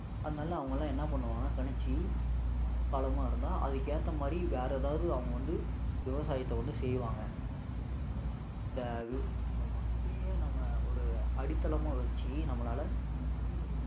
அதனால அவங்கெல்லாம் என்ன பண்ணுவாங்கன்னா கணிச்சு இது மழை காலமா இருந்தா அதுக்கு ஏத்த மாதிரி வேற ஏதாவது அவங்க வந்து விவசாயத்தை வந்து செய்வாங்க so இந்த இந்த வானிலையை நம்ம ஒரு அடித்தளமா வச்சு நம்மளால மழைய